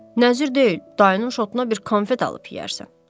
Nəzir deyil, dayının şotuna bir konfet alıb yeyərsən.